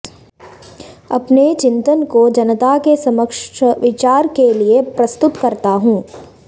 अपने चिंतन को जनता के समक्ष विचार के लिए प्रस्तुत करता हूँ